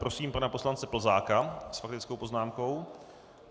Prosím pana poslance Plzáka s faktickou poznámkou.